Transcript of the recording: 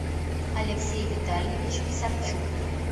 алексей витальевич писарчук